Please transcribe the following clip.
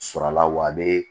Sɔrɔla wa a be